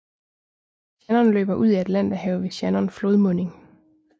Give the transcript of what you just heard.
Shannon løber ud i Atlanterhavet ved Shannon flodmunding